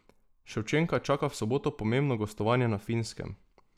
Ševčenka čaka v soboto pomembno gostovanje na Finskem.